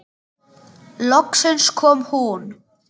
Loksins kom hún.